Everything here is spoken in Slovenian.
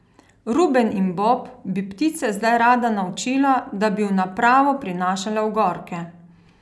Ruben in Bob bi ptice zdaj rada naučila, da bi v napravo prinašale ogorke.